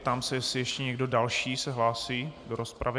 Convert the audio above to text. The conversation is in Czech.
Ptám se, jestli ještě někdo další se hlásí do rozpravy.